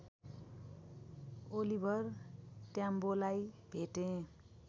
Oliver ट्याम्बोलाई भेटे